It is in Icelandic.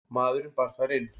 Maðurinn bar þær inn.